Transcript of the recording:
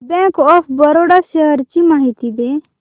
bank of Baroda shares ची माहिती दे